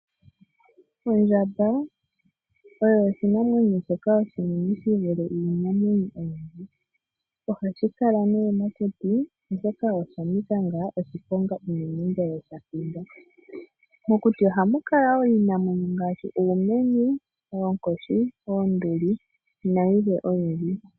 Ondjamba oyo oshinamwenyo shoka oshinene shi vule iinamwenyo oyindji. Ohashi kala nee mokuti oshoka osha nika ngaa oshiponga unene ngele sha hindwa. Mokuti ohamu kala wo iinamwenyo ngaashi uumenye, oonkoshi, oonduli nayilwe oyindji.